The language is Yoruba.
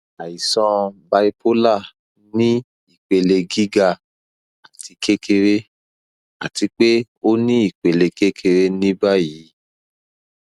aisan bipolar ni ipele giga ati kekere ati pe o ni ipele kekere ni bayi